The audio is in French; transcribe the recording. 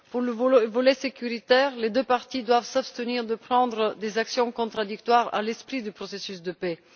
Pour le volet sécuritaire, les deux parties doivent s'abstenir de prendre des mesures contradictoires à l'esprit du processus de paix.